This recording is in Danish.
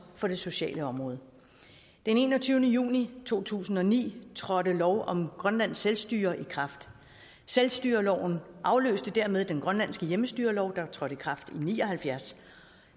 på det sociale område den enogtyvende juni to tusind og ni trådte lov om grønlands selvstyre i kraft selvstyreloven afløste dermed den grønlandske hjemmestyrelov der trådte i kraft i nitten ni og halvfjerds